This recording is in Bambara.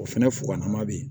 O fɛnɛ fugan ma be yen